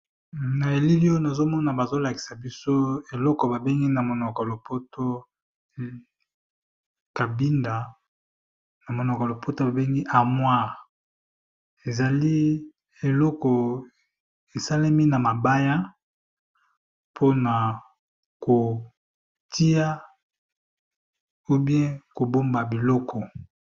na elili oyo nazomona bazolakisa biso eloko iana monoko lopoto babengi amwir ezali eloko esalemi na mabaya mpona kotia ubie kobomba biloko